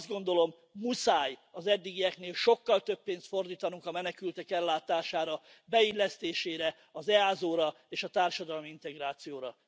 Azt gondolom, muszáj az eddigieknél sokkal több pénzt fordítanunk a menekültek ellátására, beillesztésére, az EASO ra és a társadalmi integrációra.